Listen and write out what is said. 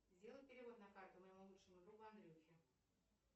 сделай перевод на карту моему лучшему другу андрюхе